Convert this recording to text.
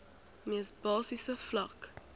mees basiese vlak